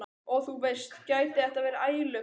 Og þú veist, gæti þetta verið ælupest?